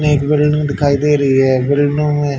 में एक बिल्डिंग दिखाई दे रही है बिल्डिंग में--